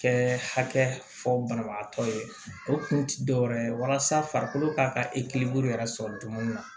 Kɛ hakɛ fɔ banabagatɔ ye o kun tɛ dɔwɛrɛ ye walasa farikolo ka ka ekilinko yɛrɛ sɔrɔ cogo min na